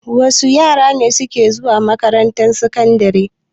Wa su yara ne suke zuwa makarantar sakandare?